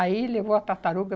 Aí, levou a tartaruga.